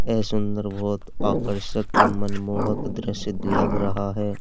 यह सुंदर बहुत आकर्षक और मनमोहक दृश्य लग रहा है।